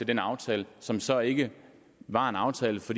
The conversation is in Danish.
den aftale som så ikke var en aftale for